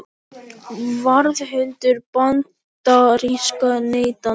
Varðhundur bandarískra neytenda